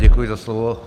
Děkuji za slovo.